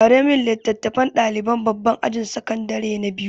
Ware min littafan ɗaliban babban ajin sakandare na biyu!